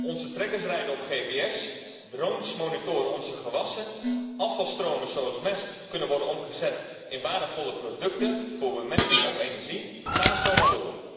Onze trekkers rijden op gps, drones monitoren onze gewassen, afvalstromen zoals mest kunnen worden omgezet in waardevolle producten voor bemesting of energie, enzovoort.